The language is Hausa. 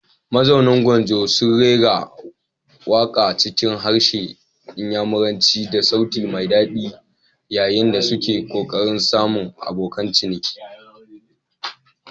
Mazauna gwanjo sun rera waka cikin harshen Inyamuranci da sauti mai dadi yayin da suke kokarin samun abokan ciniki.